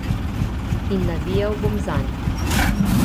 In navijal bom zanj.